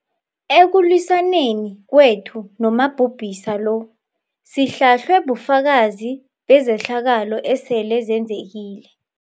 Ekulwisaneni kwethu nomabhubhisa lo sihlahlwe bufakazi bezehlakalo esele zenzekile